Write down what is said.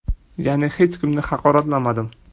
Ya’ni hech kimni haqoratlamadim.